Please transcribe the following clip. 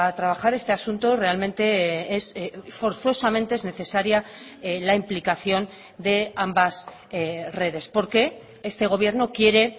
trabajar este asunto realmente forzosamente es necesaria la implicación de ambas redes porque este gobierno quiere